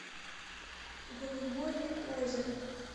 голубое озеро